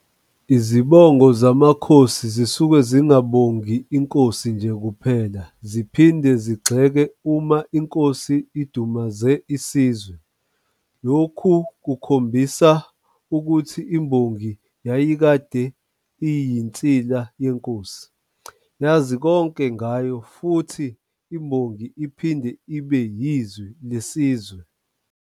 Izibongo zamakhosi zisuke zingabongi Inkosi nje kuphela, ziphinde zigxeke uma Inkosi idumaze isizwe. Lokhu kubonisa ukuthi imbongi yayikade iyinsila yenkosi, yazi konke ngayo kanti futhi imbongi iphinde ibe yizwi lesizwe.